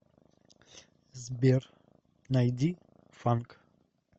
сбер найди фанк